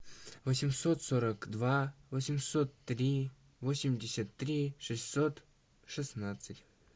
восемьсот сорок два восемьсот три восемьдесят три шестьсот шестнадцать